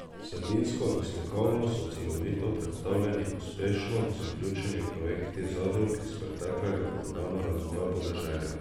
Vsebinsko in slikovno so celovito predstavljeni uspešno zaključeni projekti zadrug iz preteklega programa razvoja podeželja.